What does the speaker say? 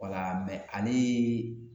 Wala mɛ ale